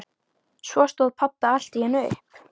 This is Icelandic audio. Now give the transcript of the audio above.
Svo stóð pabbi allt í einu upp.